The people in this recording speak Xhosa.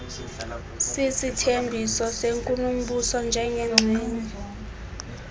sisithembiso senkulumbuso njengengxenye